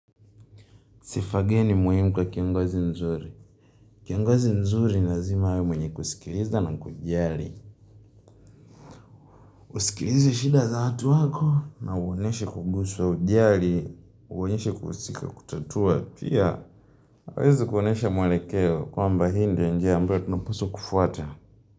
Sifa gani muhimu kwa kiongozi mzuri. Kiongozi mzuri lazima awe mwenye kusikiliza na kujali. Usikilize shida za watu wako na uonyeshe kuguswa, ujali, uonyeshe kuhusika kutatua. Pia, aweze kuonyesha mwelekeo kwamba hii ndio njia ambayo tunapaswa kufuata.